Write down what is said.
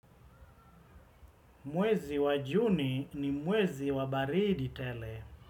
Mwezi wa juni ni mwezi wa baridi tele.